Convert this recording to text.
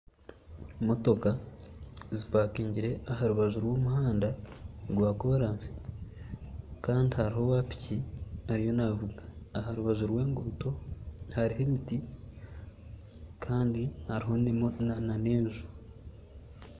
Motoka zipakingire aharubaju rwo muhanda gwa korasi Kandi hariho owa'piki ariyo navuga. Aharubaju rw'enguto hariho emiti Kandi hariho n'enju